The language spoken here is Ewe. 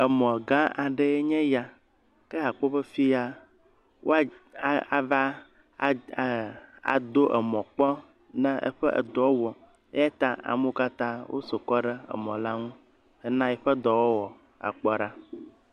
Emɔ gã aɖee nye ya. Ke akpɔ be yi ya woa a ava ad e ado emɔ kpɔ ne eƒe edɔ wɔm eya ta amewo katã woƒo kɔ ɖe emɔ la ŋu hena eƒe dɔwɔwɔ akpɔ ɖa.